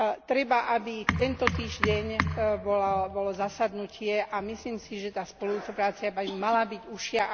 Treba, aby tento týždeň bolo zasadnutie, a myslím si, že tá spolupráca by mala byť užšia.